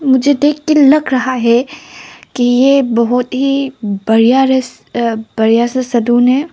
मुझे देख के लग रहा है कि ये बहुत ही बढ़िया बढ़िया सा सलून है।